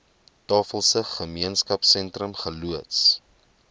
tafelsig gemeenskapsentrum geloods